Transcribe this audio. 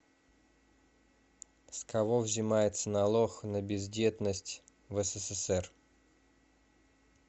с кого взимается налог на бездетность в ссср